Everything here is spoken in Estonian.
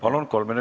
Palun!